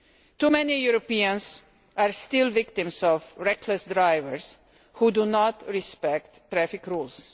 Too many Europeans are still victims of reckless drivers who do not respect traffic rules.